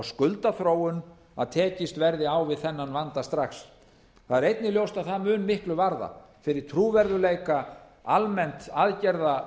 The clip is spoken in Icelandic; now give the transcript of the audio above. skuldaþróun að tekist verði á við þennan vanda strax það er einnig ljóst að það mun miklu varða fyrir trúverðugleika almennt aðgerða